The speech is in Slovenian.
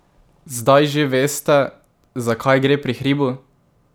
Zdaj že veste, za kaj gre pri Hribu?